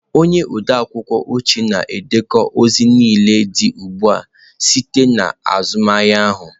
Onye odeakwụkwọ oche na-edekọ ozi niile dị ugbu a site na azụmahịa ahụ.